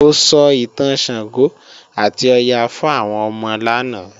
Mo sọ ìtàn Ṣàngó àti Ọya fún àwọn ọmọ lánàá